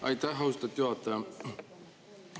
Aitäh, austatud juhataja!